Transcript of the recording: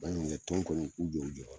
Baɲumankɛ tɔn kɔni u k'u jɔ u jɔyɔrɔ la.